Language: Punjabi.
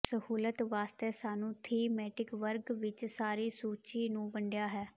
ਸਹੂਲਤ ਵਾਸਤੇ ਸਾਨੂੰ ਥੀਮੈਟਿਕ ਵਰਗ ਵਿੱਚ ਸਾਰੀ ਸੂਚੀ ਨੂੰ ਵੰਡਿਆ ਹੈ